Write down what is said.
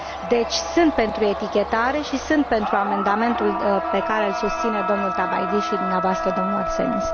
Deci, sunt pentru etichetare și sunt pentru amendamentul pe care îl susține domnul Tabajdi și dumneavoastră, domnule Arsenis.